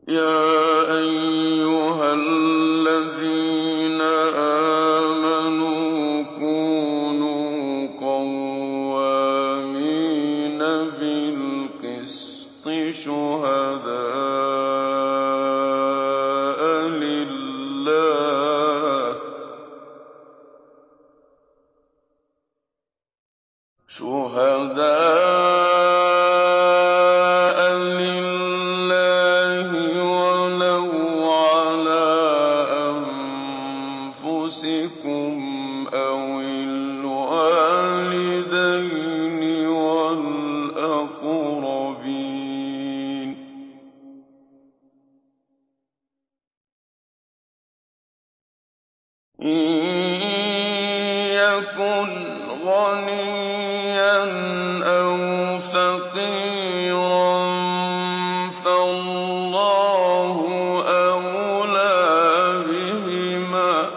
۞ يَا أَيُّهَا الَّذِينَ آمَنُوا كُونُوا قَوَّامِينَ بِالْقِسْطِ شُهَدَاءَ لِلَّهِ وَلَوْ عَلَىٰ أَنفُسِكُمْ أَوِ الْوَالِدَيْنِ وَالْأَقْرَبِينَ ۚ إِن يَكُنْ غَنِيًّا أَوْ فَقِيرًا فَاللَّهُ أَوْلَىٰ بِهِمَا ۖ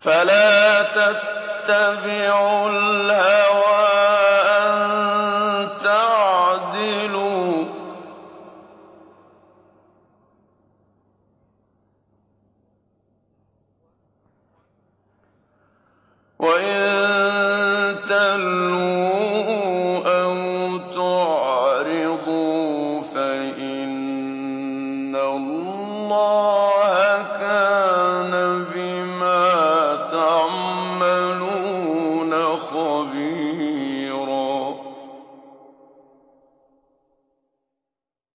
فَلَا تَتَّبِعُوا الْهَوَىٰ أَن تَعْدِلُوا ۚ وَإِن تَلْوُوا أَوْ تُعْرِضُوا فَإِنَّ اللَّهَ كَانَ بِمَا تَعْمَلُونَ خَبِيرًا